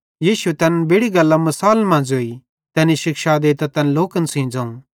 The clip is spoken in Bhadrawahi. यीशुए तैनन् बेड़ि गल्लां मिसालन मां ज़ोई तैनी शिक्षा देइतां तैन लोकन सेइं ज़ोवं